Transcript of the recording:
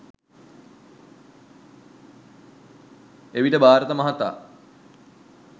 එවිට භාරත මහතා